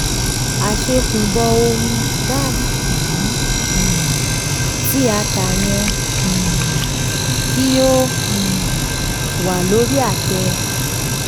àṣẹ̀kùbọ̀ ohun-ini um tí a tà yẹ um kí o um wà lórí àtẹ.